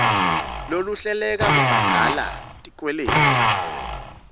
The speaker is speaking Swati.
lolohluleka kubhadala tikweleti